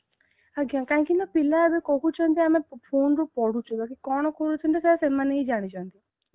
ଆଜ୍ଞା କାହିଁକି ନା ପିଲା ଏବେ କହୁଛିନ୍ତି ଆମେ phone ରୁ ପଢୁଛୁ ବୋଲି କଣ କରୁଛନ୍ତି ସେଇଟା ସେମାନେ ହିଁ ଜାଣିଛନ୍ତି